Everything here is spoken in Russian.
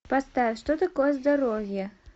поставь что такое здоровье